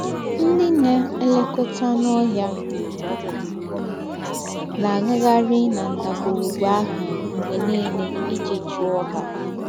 Ńdị́ ná-èlèkọ́tà ànù́ óhìà ná-àgàghàrì na ńdàgwùrùgwù àhụ̀ m̀gbè nìlè íjí chúọ ha.